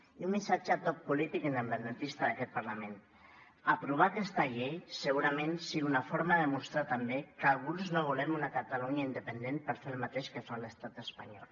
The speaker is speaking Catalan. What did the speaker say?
i un missatge a tot polític independentista d’aquest parlament aprovar aquesta llei segurament sigui una forma de demostrar també que alguns no volem una catalunya independent per fer el mateix que fa l’estat espanyol